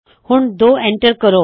ਹੁੱਣ 2 enter ਕਰੋ